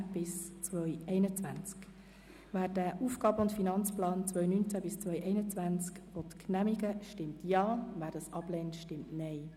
Wer den AFP 2019–2021 genehmigen will, stimmt Ja, wer diesen ablehnt, stimmt Nein.